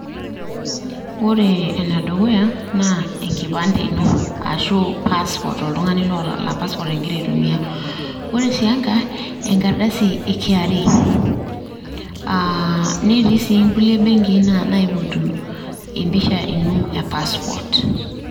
Ore ene dukuya naa enkipande ino ashu passport oltung`ani laa passport egira aitumia, ore sii enkae naa enkardasi e KRA. Netii sii nkulie benkii naipotu empisha ino e passport.